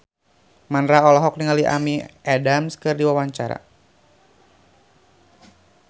Mandra olohok ningali Amy Adams keur diwawancara